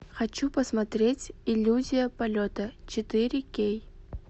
хочу посмотреть иллюзия полета четыре кей